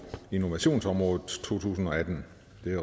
innovationsområdet totusinde og attende